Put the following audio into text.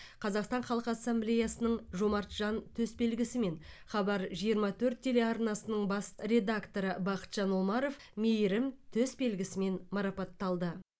қазақстан халқы ассамблеясының жомарт жан төсбелгісімен хабар жиырма төрт телеарнасының бас редакторы бақытжан омаров мейірім төсбелгісімен марапатталды